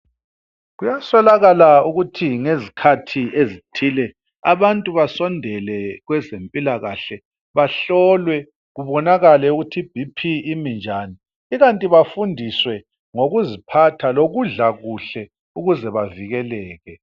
Kuyasolakala ukuthi ngezikhathi ezithile abantu basondele kwezempila kahle bahlolwe kubonakale ukuthi ibp imi njani ikanti bafundiswe ngokuziphatha lokudla kuhle ukuze bavikeleke